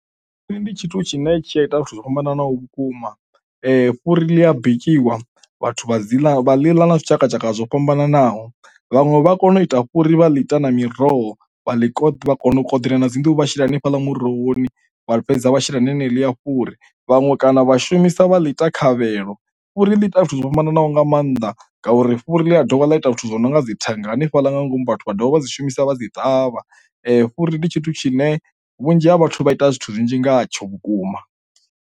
Tsini ndi tshithu tshine tshi a ita zwithu zwo fhambananaho vhukuma, fhuri ḽi a bikiwa vhathu vha dzi ḽa vha liḽa na zwitshakatshaka zwo fhambananaho vhanwe vha kone u ita fhuri vha ḽi ita na miroho vha ḽi ko, vha kona u koḓela na dzi nduhu vha shela hanefhala murohoni vha fhedza vha shela naneḽia fhuri, vhaṅwe kana vha shumisa vha ḽi ita khavhelo. Fhuri ḽi ita zwithu zwo fhambananaho nga maanḓa ngauri fhuri ḽi a dovha ḽa ita zwithu zwinonga dzi thanga hanefhaḽa nga ngomu vhathu vha dovha vha dzi shumisa vha dzi ṱavha fhuri ndi tshithu tshine vhunzhi ha vhathu vha ita zwithu zwinzhi ngatsho vhukuma.